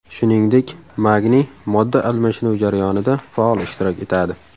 Shuningdek, magniy modda almashinuvi jarayonida faol ishtirok etadi.